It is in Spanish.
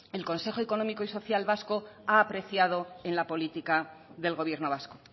el consejo económico y social vasco ha apreciado en la política del gobierno vasco